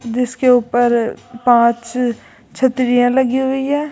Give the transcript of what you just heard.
जिसके ऊपर पांच छतरियां लगी हुई है।